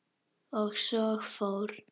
Og svo fór.